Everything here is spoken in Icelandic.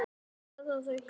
Meira brauð, piltar?